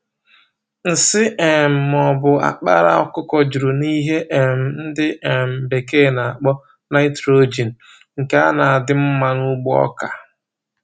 Nsị um ma ọbụ akpala ọkụkọ juru na ihe um ndị um bekee n'akpọ Nìtrojin, nke a n'adị mmá n'ugbo ọkà